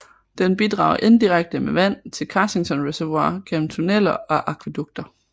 Den bidrager indirekte med vand til Carsington Reservoir gennem tunneler og akvædukter